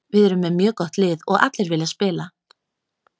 Við erum með mjög gott lið og allir vilja spila.